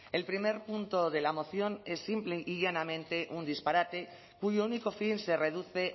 el primer punto de la moción es simple y llanamente un disparate cuyo único fin se reduce